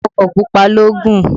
Ọkọ̀ pupa ló gùn.